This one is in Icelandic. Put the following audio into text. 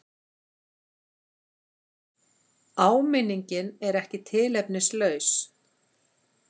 Áminningin er ekki tilefnislaus.